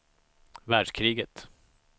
världskriget